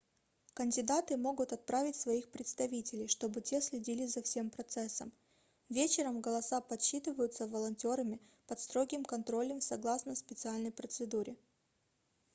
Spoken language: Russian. кандидаты могут отправить своих представителей чтобы те следили за всем процессом вечером голоса подсчитываются волонтерами под строгим контролем в согласно специальной процедуре